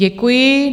Děkuji.